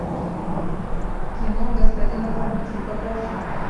кино господин оформитель покажи